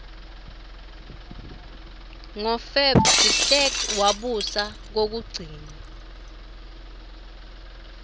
ngo feb derklerk wabusa kwekugcina